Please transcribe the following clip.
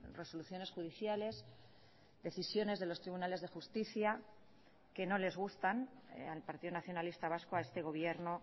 resoluciones judiciales decisiones de los tribunales de justicia que no les gustan al partido nacionalista vasco a este gobierno